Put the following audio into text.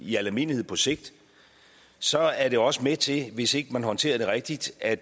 i al almindelighed på sigt så er den jo også med til hvis ikke man håndterer den rigtigt at